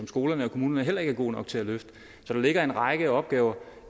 skolerne og kommunerne heller ikke er gode nok til at løfte så der ligger en række opgaver